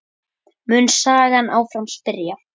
mun sagan áfram spyrja.